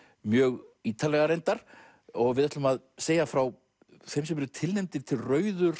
mjög ítarlega reyndar við ætlum að segja frá þeim sem eru tilnefndir til rauðu